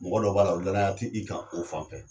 Mɔgɔ dɔw b'a la o danaya tɛ i kan o fan fɛ.